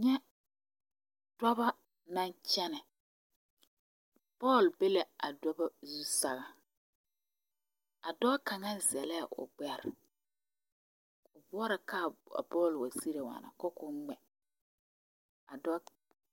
Nyɛ dɔbɔ na kyɛnɛ bɔɔl be la a dɔbɔ zu sɛŋɛ a dɔɔ kaŋa zɛlɛɛ gbɛre o bɔɔrɔ ka kaa bɔl wa sigre waana ka koo ngmɛ a dɔɔ.